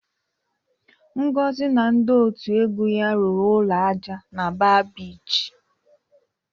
Ngozi na ndị otu egwu ya rụrụ ụlọ ájá na Ba Bichi.